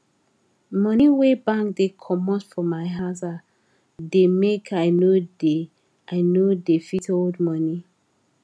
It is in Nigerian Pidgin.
money wey bank dey comot for my aza da make i no da i no da fit hold money